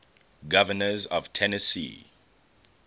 governors of tennessee